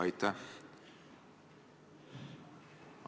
Aitäh!